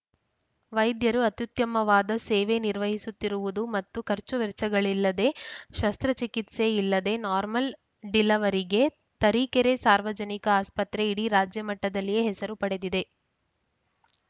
ವೈದ್ಯರು ಅತ್ಯುತ್ತಮವಾದ ಸೇವೆ ನಿರ್ವಹಿಸುತ್ತಿರುವುದು ಮತ್ತು ಖರ್ಚು ವೆಚ್ಚಗಳಿಲ್ಲದೆ ಶಸ್ತ್ರಚಿಕಿತ್ಸೆ ಇಲ್ಲದೆ ನಾರ್ಮಲ್‌ ಡಿಲವರಿಗೆ ತರೀಕೆರೆ ಸಾರ್ವಜನಿಕ ಆಸ್ಪತ್ರೆ ಇಡೀ ರಾಜ್ಯಮಟ್ಟದಲ್ಲಿಯೆ ಹೆಸರು ಪಡೆದಿದೆ